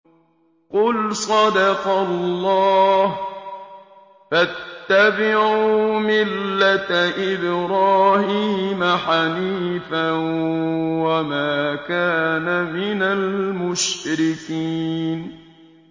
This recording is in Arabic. قُلْ صَدَقَ اللَّهُ ۗ فَاتَّبِعُوا مِلَّةَ إِبْرَاهِيمَ حَنِيفًا وَمَا كَانَ مِنَ الْمُشْرِكِينَ